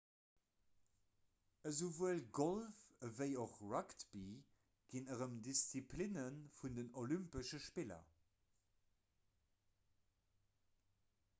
esouwuel golf ewéi och rugby ginn erëm disziplinne vun den olympesche spiller